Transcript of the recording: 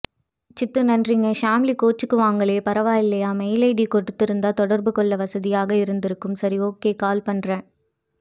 சித்து நன்றிங்க சாம்லி கோச்சுக்குவாங்களே பரவாயில்லியா மெயில் ஐடி கொடுத்திருந்தா தொடர்புகொள்ள வசதியா இருக்கும் சரி ஒகே கால் பண்ணுறேன்